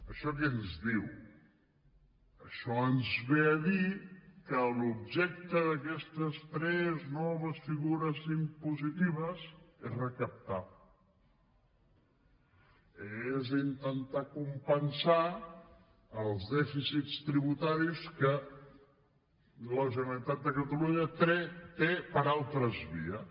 això què ens diu això ens ve a dir que l’objecte d’aquestes tres noves figures impositives és recaptar és intentar compensar els dèficits tributaris que la generalitat de catalunya té per altres vies